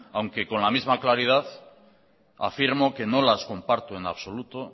aunque con la misma claridad afirmo que no las comparto en absoluto